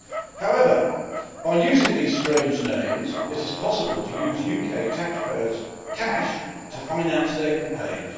However, by using these strange names it is possible to use UK taxpayers' cash to finance their campaigns.